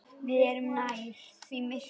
Við erum nærri því myrkur